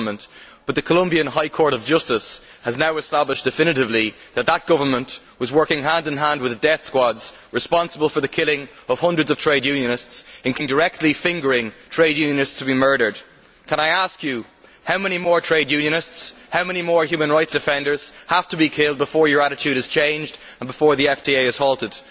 However, the Colombian High Court of Justice has now established definitively that that government was working hand in hand with the death squads responsible for killing hundreds of trade unionists, including by directly fingering trade unionists to be murdered. I would like to ask you how many more trade unionists and how many more human rights offenders have to be killed before your attitude is changed and before the FTA is halted?